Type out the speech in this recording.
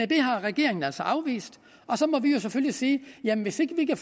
det har regeringen altså afvist og så må vi jo selvfølgelig sige jamen hvis vi ikke